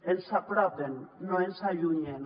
ens hi apropen no ens en allunyen